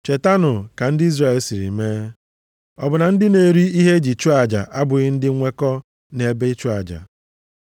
Chetanụ ka ndị Izrel siri mee: ọ bụ na ndị na-eri ihe eji chụọ aja abụghị ndị nnwekọ nʼebe ịchụ aja?